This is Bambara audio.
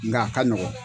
Nga a ka nɔgɔn